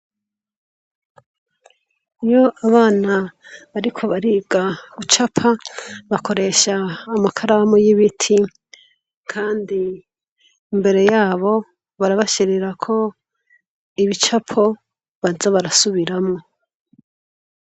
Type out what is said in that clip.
Iyo abana bariko bariga gucapa, bakoresha amakaramu y'ibiti, kandi imbere yabo barabashirirako ibicapo baza barasubiramwo.